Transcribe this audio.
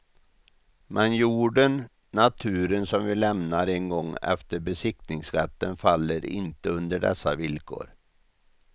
Men jorden, naturen som vi lämnar en gång efter besittningsrätten faller inte under dessa villkor.